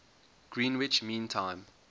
greenwich mean time